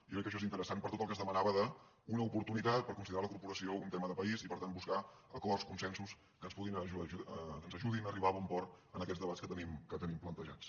jo crec que això és interessant per tot el que es demanava d’una oportunitat per considerar la corporació un tema de país i per tant buscar acords consensos que ens ajudin a arribar a bon port en aquests debats que tenim plantejats